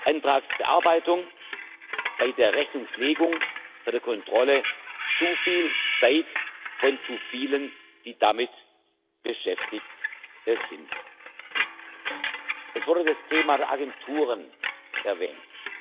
Antragsbearbeitung, bei der Rechnungslegung, bei der Kontrolle zu viel Zeit von zu vielen, die damit beschäftigt sind. Es wurde auch das Thema der Agenturen erwähnt.